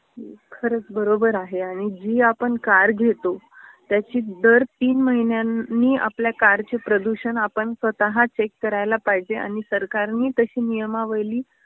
खरच बरोबर आहे आणि जी आपण कार घेतो त्याची दर तीन महिन्यांनीआपल्या कारचे प्रदूषण आपण स्वतः चेक करायला पाहिजे आणि सरकारनी तशी नियमावली